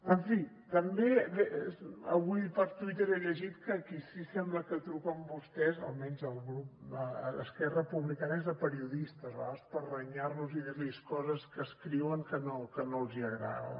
en fi també avui per twitter he llegit que a qui sí sembla que truquen vostès almenys el grup d’esquerra republicana és a periodistes a vegades per renyar los i dir los coses que escriuen que no els agraden